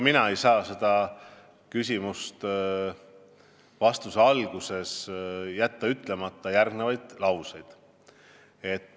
Ma ei saa oma vastuse alguses jätta ütlemata järgnevaid lauseid.